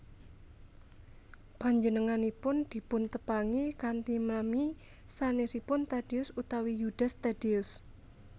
Panjenenganipun dipuntepangi kanthi nami sanèsipun Tadeus utawi Yudas Tadeus